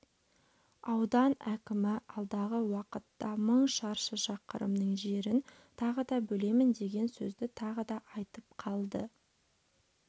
аудан әкімі алдағы уақытта мың шаршы шақырымның жерін тағы да бөлемін деген сөзді тағы да айтып қалды